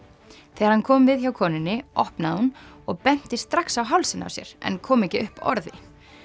þegar hann kom við hjá konunni opnaði hún og benti strax á hálsinn á sér en kom ekki upp orði